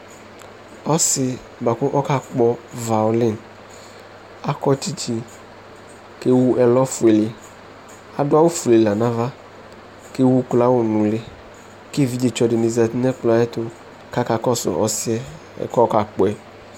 ɔse boa ko ɔka kpɔ violin akɔ tsitsi ko ewu ɛlɔ fuele ado awu fue la no ava ko ewu uklo awu no uli ko evidze tsɔ di ni zati no ɛkplɔɛ ayɛto ko aka kɔso ɔsiɛ ɛkoɛ ko ɔka kpɔ yɛ